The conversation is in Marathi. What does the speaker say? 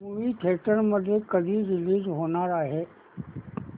मूवी थिएटर मध्ये कधी रीलीज होणार आहे